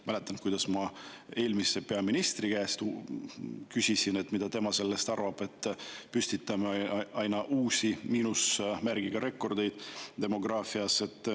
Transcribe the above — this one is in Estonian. Mäletan, kuidas ma eelmise peaministri käest küsisin, mida tema sellest arvab, et me püstitame aina uusi miinusmärgiga rekordeid demograafias.